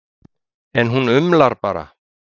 En hún umlar bara.